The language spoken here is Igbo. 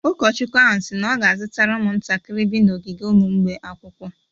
Ụkọchukwu ahụ si na ọ ga-azụtara ụmụntakịrị bi n’ogige ụmụ mgbei akwụkwọ.